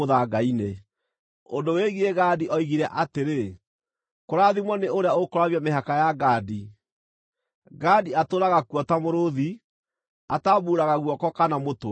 Ũndũ wĩgiĩ Gadi oigire atĩrĩ: “Kũrathimwo nĩ ũrĩa ũkwaramia mĩhaka ya Gadi! Gadi atũũraga kuo ta mũrũũthi, atambuuraga guoko kana mũtwe.